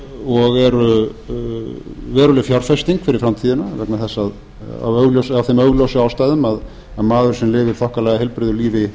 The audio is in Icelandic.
og eru veruleg fjárfesting fyrir framtíðina af þeim augljósu ástæðum að maður sem lifir þokkalega heilbrigðu lífi